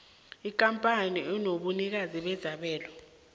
ikampani enobunikazi bezabelo